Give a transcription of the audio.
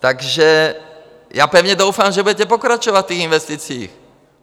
Takže já pevně doufám, že budete pokračovat v těch investicích.